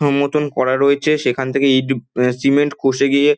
room মতন করা রয়েছে সেখান থেকে ইঁট উব সিমেন্ট খসে গিয়ে--